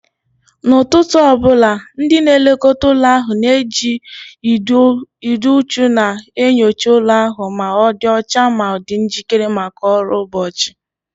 N'ụtụtụ ọ bụla, ndị na-elekọta ụlọ ahụ na-eji ịdị uchu na-enyocha ụlọ ahụ ma ọ dị ọcha ma dị njikere maka ọrụ ụbọchị